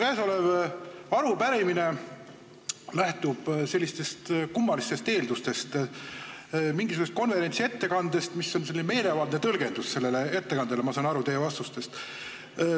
Käesolev arupärimine lähtub kummalistest eeldustest, mingisugusest konverentsi ettekandest ja on selle ettekande meelevaldne tõlgendus, nagu ma saan aru teie vastustest.